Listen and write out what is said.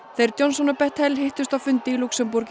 þeir Johnson og Bettel hittust á fundi í Lúxemborg í